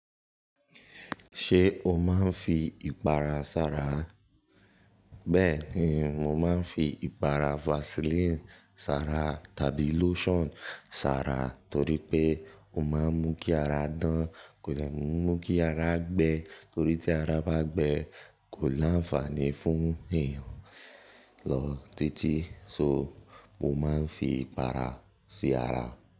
Ṣé o máa ń fi ìpara sára? Bẹ́ẹ̀ ni, mo máa ń fi ìpara Vaseline sára tàbí lotion sára torí pé ó máa ń mú kí ara dán, kò dè mú kí ara gbẹ torí tí ara bá gbẹ kò láǹfààní fún èèyàn lọ títí. So mo máa ń fi ìpara sí ara.